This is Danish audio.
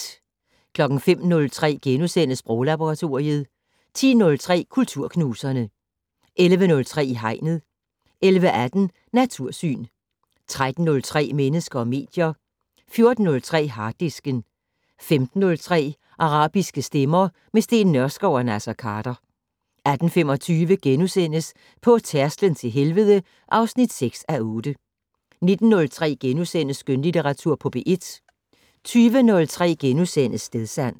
05:03: Sproglaboratoriet * 10:03: Kulturknuserne 11:03: I Hegnet 11:18: Natursyn 13:03: Mennesker og medier 14:03: Harddisken 15:03: Arabiske stemmer - med Steen Nørskov og Naser Khader 18:25: På tærsklen til helvede (6:8)* 19:03: Skønlitteratur på P1 * 20:03: Stedsans *